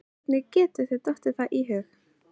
Hvernig getur þér dottið það í hug!